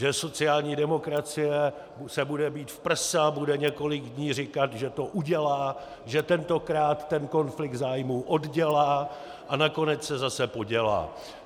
Že sociální demokracie se bude být v prsa, bude několik dní říkat, že to udělá, že tentokrát ten konflikt zájmů oddělá, a nakonec se zase podělá.